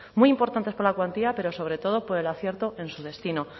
muy importantes por la cuantía pero sobre todo por el acierto en su destino